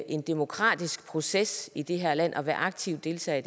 en demokratisk proces i det her land og være aktive deltagere